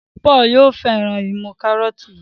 Paul yóò féràn imú karọọti yí.